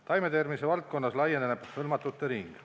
Taimetervise valdkonnas laieneb hõlmatute ring.